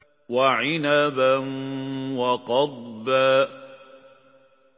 وَعِنَبًا وَقَضْبًا